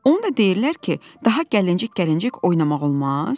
Onu da deyirlər ki, daha gəlincik-gəlincik oynamaq olmaz?